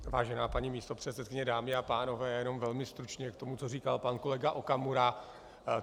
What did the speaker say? Vážená paní místopředsedkyně, dámy a pánové, jenom velmi stručně k tomu, co říkal pan kolega Okamura.